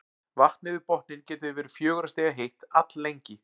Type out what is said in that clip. Vatnið við botninn getur því verið fjögurra stiga heitt alllengi.